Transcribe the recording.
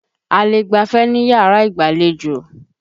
A lè gbafẹ̀ níyàrá ìgbàlejò.